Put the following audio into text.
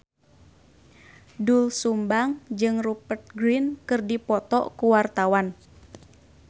Doel Sumbang jeung Rupert Grin keur dipoto ku wartawan